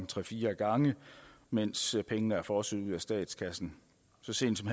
tre fire gange mens pengene er fosset ud af statskassen så sent som